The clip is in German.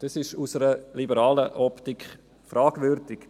Dies ist aus einer liberalen Optik fragwürdig.